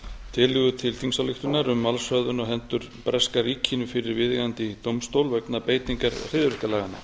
tillögu til þingsályktunar um málshöfðun á hendur breska ríkinu fyrir viðeigandi dómstól vegna beitingar hryðjuverkalaganna